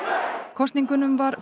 kosningunum var